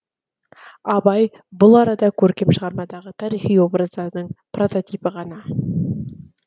абай бұл арада көркем шығармадағы тарихи образдардың прототипі ғана